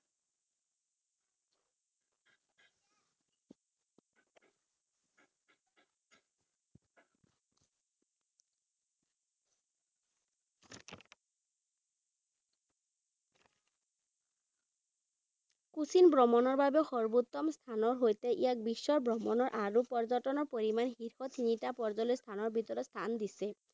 কুছিন ভ্ৰমণৰ বাবে সৰ্বোত্তম স্থানৰ সৈতে ইয়াক বিশ্বৰ ভ্ৰমণৰ আৰু পৰ্যটনৰ পৰিমাণ শীৰ্ষত তিনিটা পৰ্যটন স্থানৰ ভিতৰত স্থান দিছে।